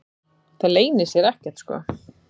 Það leynir sér ekkert sko.